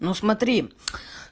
ну смотри